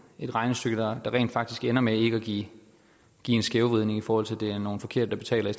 et regnestykke der rent faktisk ender med ikke at give en skævvridning i forhold til at det er nogle forkerte der betaler i